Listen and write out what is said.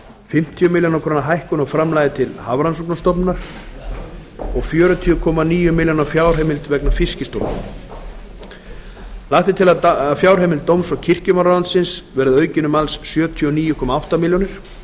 fimmtíu milljónir króna hækkun á framlagi til hafró og fjörutíu komma níu milljónir króna fjárheimild vegna fiskistofu lagt er til að fjárheimild dóms og kirkjumálaráðuneytis verði aukin um alls sjötíu og níu komma átta milljónir